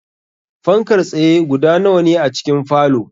Fankar tsaye guda nawa ne a cikin falow?